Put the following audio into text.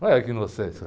Olha que inocência.